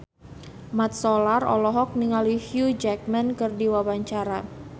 Mat Solar olohok ningali Hugh Jackman keur diwawancara